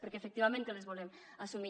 perquè efectivament que les volem assumir